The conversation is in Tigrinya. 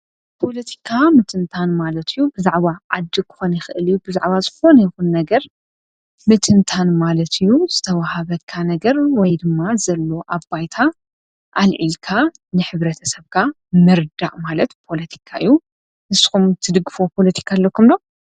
ኲለቲካ ምትንታን ማለትዩ ብዛዕዋ ዓዲ ኸነ ኽእልዩ ብዛዕባ ዝኾን ይኹን ነገር ምትንታን ማለትዩ ዝተውሃበካ ነገር ወይ ድማ ዘሎ ኣባይታ ኣልዒልካ ንኅብረ ተሰብካ ምርዳዕ ማለት ጶለቲካእዩ ንስኹም ትድግፎ ጶሎቲካ ኣለኩምዶ።